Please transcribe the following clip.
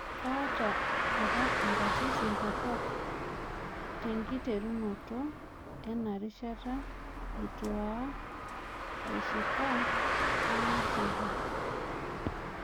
Kaata apa inkatitin torrok tenkiterunoto ena rishata, nitu aoa ashika naing'asie